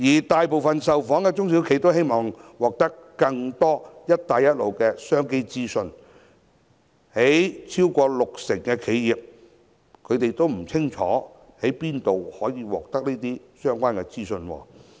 大部分受訪的中小企表示希望獲得更多"一帶一路"的商機資訊，但超過六成的企業均不清楚在哪裏可獲得相關資訊。